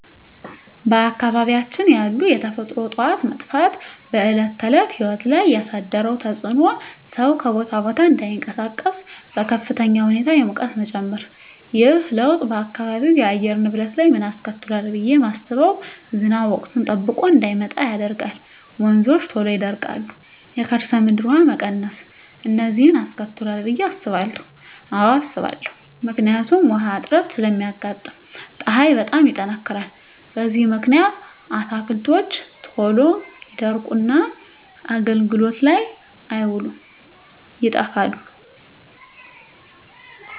በአካባቢያችን ያሉ የተፈጥሮ እፅዋት መጥፋት በዕለት ተዕለት ሕይወት ላይ ያሣደረው ተፅኖ ሠው ከቦታ ቦታ እዳይንቀሣቀስ፤ በከፍተኛ ሁኔታ የሙቀት መጨመር። ይህ ለውጥ በአካባቢው የአየር ንብረት ላይ ምን አስከትሏል ብየ ማስበው። ዝናብ ወቅቱን ጠብቆ እዳይመጣ ያደርጋል፤ ወንዞች ቶሎ ይደርቃሉ፤ የከርሠ ምድር ውሀ መቀነስ፤ እነዚን አስከትሏል ብየ አስባለሁ። አዎ አስባለሁ። ምክንያቱም ውሀ እጥረት ስለሚያጋጥም፤ ፀሀይ በጣም ይጠነክራል። በዚህ ምክንያት አትክልቶች ቶሎ ይደርቁና አገልግሎት ላይ አይውሉም ይጠፋሉ።